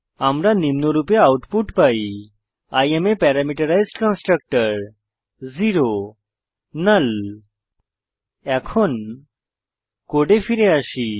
আমরা নিম্নরূপে আউটপুট পাই I am a parameterized constructor null এখন কোডে ফিরে আসি